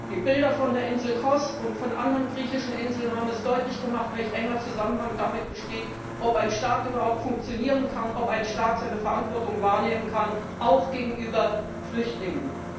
Die Bilder von der Insel Kos und von anderen griechischen Inseln haben deutlich gemacht, welch enger Zusammenhang damit besteht, ob ein Staat überhaupt funktionieren kann, ob ein Staat seine Verantwortung wahrnehmen kann, auch gegenüber Flüchtlingen.